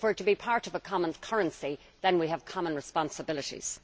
If we are to be part of a common currency, then we have common responsibilities.